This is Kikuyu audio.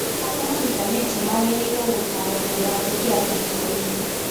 Arĩa mahikanĩtie magĩrĩirũo gutaarwo mbere ya kũingĩra kĩhiko-inĩ.